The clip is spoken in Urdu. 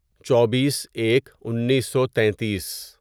چوبیس ایک انیسو تینتیس